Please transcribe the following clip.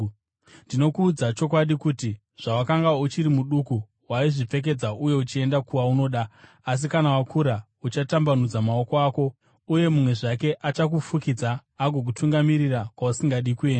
Ndinokuudza chokwadi kuti, zvawakanga uchiri muduku waizvipfekedza uye uchienda kwaunoda; asi kana wakura, uchatambanudza maoko ako, uye mumwe zvake achakufukidza agokutungamirira kwausingadi kuenda.”